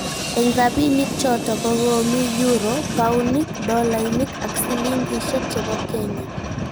Eng' rabinik choto ko koomi euro, paunik, dolainik ak sillingishek chebo Kenya